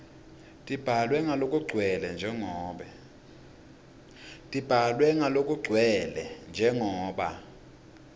tibhalwe ngalokugcwele njengoba